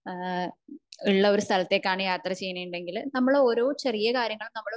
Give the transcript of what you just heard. ഏഹ്ഹ് ഉള്ള ഒരു സ്ഥലത്തേക്കാണ് യാത്ര ചെയ്യണേ ഇണ്ടെങ്കില് നമ്മൾ ഓരോ ചെറിയ കാര്യങ്ങൾ നമ്മള്